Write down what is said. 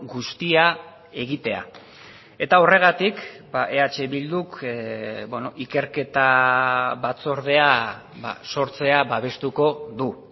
guztia egitea eta horregatik eh bilduk ikerketa batzordea sortzea babestuko du